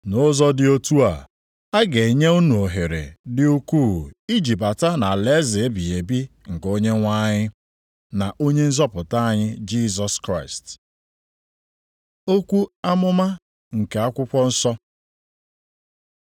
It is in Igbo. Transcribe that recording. Nʼụzọ dị otu a, a ga-enye unu ohere dị ukwuu iji bata nʼalaeze ebighị ebi nke Onyenwe anyị na Onye nzọpụta anyị Jisọs Kraịst. Okwu amụma nke Akwụkwọ nsọ